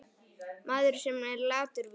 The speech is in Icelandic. Maður, sem er latur víst.